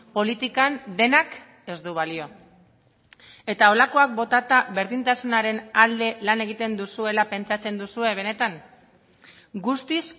politikan denak ez du balio eta holakoak botata berdintasunaren alde lan egiten duzuela pentsatzen duzue benetan guztiz